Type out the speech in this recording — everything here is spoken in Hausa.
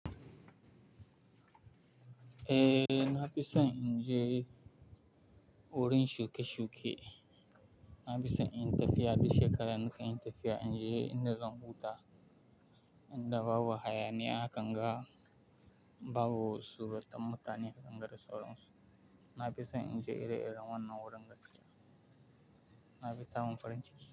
Eh, na fi so in je wurin shuke-shuke. Na fi so in tafiya, duk shekara nakan yi tafiya. In je inda zan huta, in da babu hayaniya, a kanga babu suratan mutane, a kanga dasauran su. Na fi so in je ire-iren wannan wurin gaskiya. Na fi samun farin ciki.